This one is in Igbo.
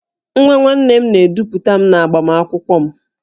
Nwa nwanne m na-edupụta m n'agbamakwụkwọ m